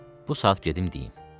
Bu saat gedim deyim.